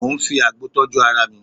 Mo ń fi àgbo tọ́jú ara mi